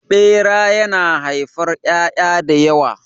Ɓera yana haifar ƴaƴa da yawa.